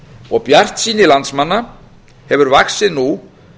og bjartsýni landsmanna hefur vaxið nú